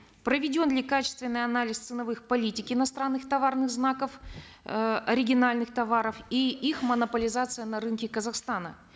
проведен ли качественный анализ ценовых политик иностранных товарных знаков э оригинальных товаров и их монополизация на рынке казахстана